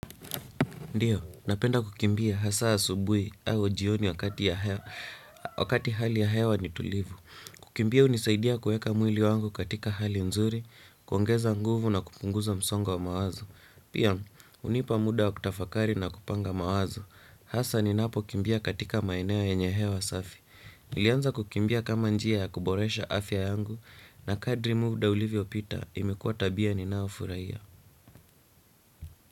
Ndiyo, napenda kukimbia hasa asubuhi au jioni wakati hali ya hewa ni tulivu. Kukimbia hunisaidia kueka mwili wangu katika hali nzuri, kuongeza nguvu na kupunguza msongo wa wa mawazo. Pia, hunipa muda wa kutafakari na kupanga mawazo. Hasa ninapokimbia katika maeneo yenye hewa safi. Nilianza kukimbia kama njia ya kuboresha afya yangu na kadri muda ulivyopita imekua tabia ninaofuraia.